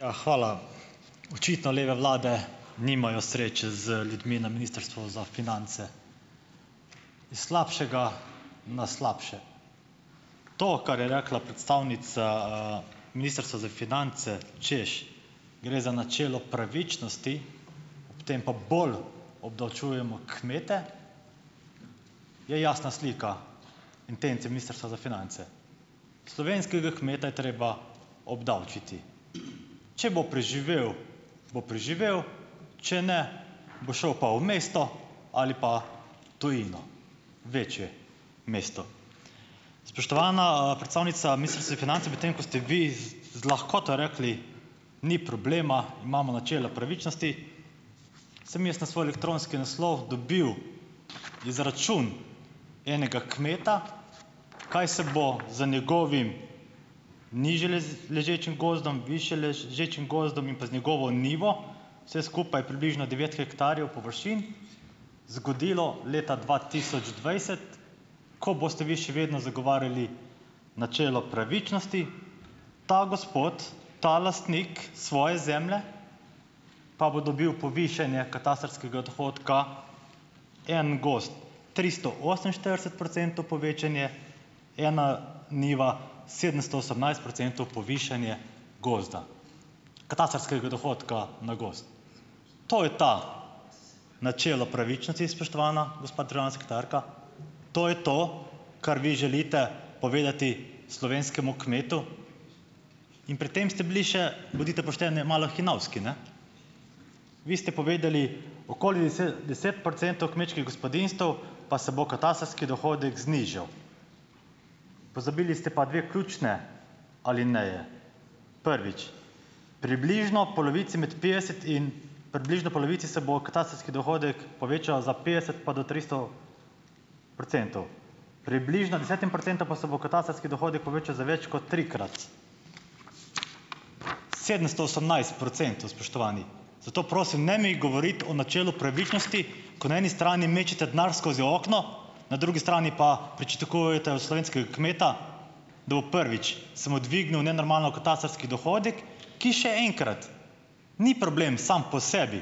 A, hvala. Očitno leve vlade nimajo sreče z ljudmi na Ministrstvu za finance. Iz slabšega na slabše. To, kar je rekla predstavnica, Ministrstva za finance, češ, gre za načelo pravičnosti, potem pa bolj obdavčujemo kmete, je jasna slika intence Ministrstva za finance. Slovenskega kmeta je treba obdavčiti. Če bo preživel bo preživel, če ne bo šel pa v mesto ali pa tujino, večje mesto. Spoštovana, predstavnica Ministrstva za finance, medtem ko ste vi z z lahkoto rekli: "Ni problema, imamo načelo pravičnosti," sem jaz na svoj elektronski naslov dobil izračun enega kmeta, kaj se bo z njegovim nižje ležečim gozdom, višje ležečim gozdom in pa z njegovo njivo, vse skupaj približno devetdeset hektarjev površin, zgodilo leta dva tisoč dvajset , ko boste vi še vedno zagovarjali načelo pravičnosti. Ta gospod, ta lastnik svoje zemlje pa bo dobil povišanje katastrskega dohodka, en gozd, tristo oseminštirideset procentov povečanje, ena njiva sedemsto osemnajst procentov povišanje gozda. Katastrskega dohodka na gozd. To je to načelo pravičnosti, spoštovana gospa trina sekretarka. To je to, kar vi želite povedati slovenskemu kmetu. In pri tem ste bili še, bodite pošteni, malo hinavski, ne. Vi ste povedali okoli deset procentov kmečkih gospodinjstev pa se bo katastrski dohodek znižal. Pozabili ste pa dve ključni alineji. Prvič, približno polovici med petdeset in približno polovici se bo katastrski dohodek povečal za petdeset pa do tristo procentov. Približno desetim procentom pa se bo katastrski dohodek povečal za več kot trikrat. Sedemsto osemnajst procentov, spoštovani. Zato prosim, ne mi govoriti o načelu pravičnosti, ko na eni strani mečete denar skozi okno, na drugi strani pa pričakujete od slovenskega kmeta, da bo prvič, se mu dvignil nenormalno katastrski dohodek, ki še enkrat, ni problem sam po sebi,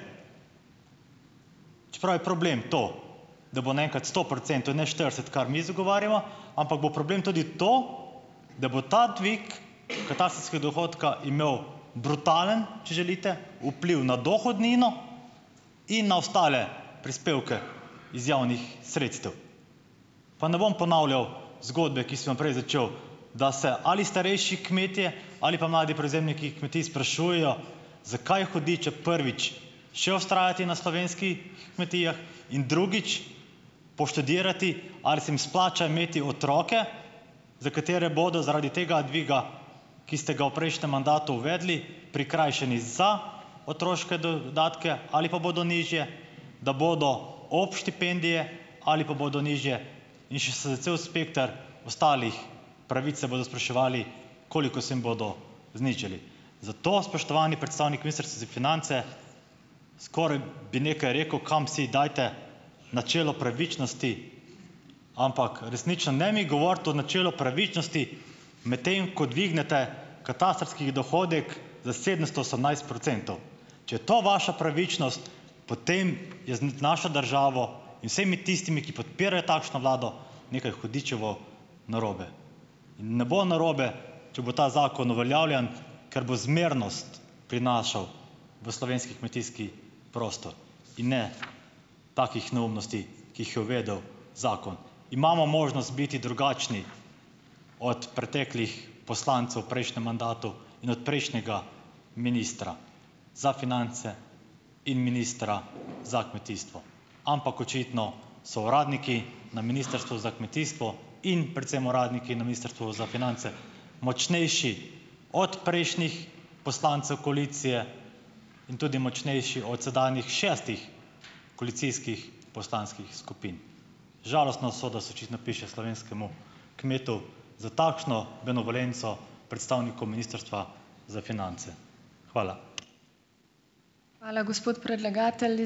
čeprav je problem to, da bo naenkrat sto procentov, ne štirideset, kar mi zagovarjamo, ampak bo problem tudi to, da bo ta dvig katastrskega dohodka imel brutalen, če želite, vpliv na dohodnino in na ostale prispevke iz javnih sredstev. Pa ne bom ponavljal zgodbe, ki sem jo prej začel, da se ali starejši kmetje ali pa mladi prevzemniki kmetij sprašujejo, zakaj hudiča, prvič, še vztrajati na slovenskih kmetijah in drugič poštudirati, ali se jim splača imeti otroke, za katere bodo zaradi tega dviga, ki ste ga v prejšnjem mandatu uvedli, prikrajšani za otroške dodatke ali pa bodo nižje, da bodo ob štipendije ali pa bodo nižje, in še s za cel spekter ostalih pravic se bodo spraševali, koliko se jim bodo znižali. Zato spoštovani predstavnik Ministrstva za finance, skoraj bi nekaj rekel, kam si dajte načelo pravičnosti, ampak resnično ne mi govoriti o načelu pravičnosti, medtem ko dvignete katastrskih dohodek za sedemsto osemnajst procentov, če je to vaša pravičnost, potem je z, našo državo in vsemi tistimi, ki podpirajo takšno vlado, nekaj hudičevo narobe in ne bo narobe, če bo ta zakon uveljavljen, ker bo zmernost prinašal v slovenski kmetijski prostor in ne takih neumnosti, ki jih je uvedel zakon. Imamo možnost biti drugačni od preteklih poslancev v prejšnjem mandatu in od prejšnjega ministra za finance in ministra za kmetijstvo, ampak očitno so uradniki na Ministrstvu za kmetijstvo, in predvsem uradniki na Ministrstvu za finance, močnejši od prejšnjih poslancev koalicije in tudi močnejši od sedanjih šestih koalicijskih poslanskih skupin. Žalostna usoda se očitno piše slovenskemu kmetu za takšno benevolenco predstavniku Ministrstva za finance. Hvala.